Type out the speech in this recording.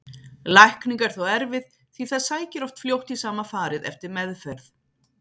Lækning er þó erfið því það sækir oft fljótt í sama farið eftir meðferð.